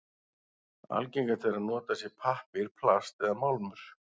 Algengast er að notað sé pappír, plast eða málmur.